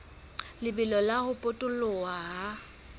lebelo la ho potoloha ha